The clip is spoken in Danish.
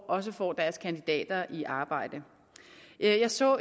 også får deres kandidater i arbejde jeg så